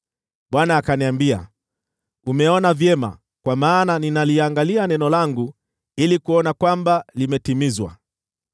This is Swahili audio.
Bwana akaniambia, “Umeona vyema kwa maana ninaliangalia neno langu ili kuona kwamba limetimizwa.”